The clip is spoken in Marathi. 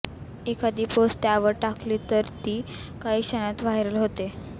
एखादी पोस्ट त्यावर टाकली तर ती काही क्षणात व्हायरल होते